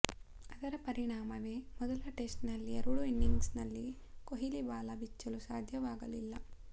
ಅದರ ಪರಿಣಾಮವೇ ಮೊದಲ ಟೆಸ್ಟ್ ನ ಎರಡೂ ಇನಿಂಗ್ಸ್ ನಲ್ಲಿ ಕೊಹ್ಲಿ ಬಾಲ ಬಿಚ್ಚಲು ಸಾಧ್ಯವಾಗಲಿಲ್ಲ